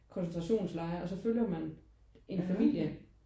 Koncentrationslejr og så følger man en familie